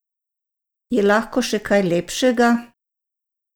Je lahko še kaj lepšega?